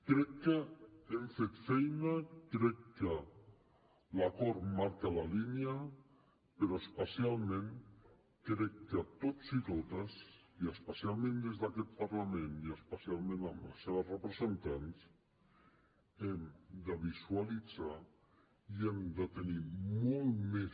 crec que hem fet feina crec que l’acord marca la línia però especialment crec que tots i totes i especialment des d’aquest parlament i especialment amb les seves representants hem de visualitzar i hem de tenir molt més